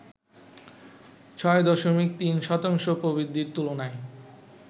৬.৩ শতাংশ প্রবৃদ্ধির তুলনায়